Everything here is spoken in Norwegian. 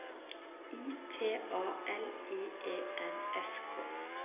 I T A L I E N S K